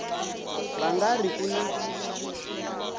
va nga ri ku na